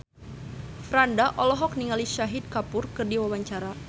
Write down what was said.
Franda olohok ningali Shahid Kapoor keur diwawancara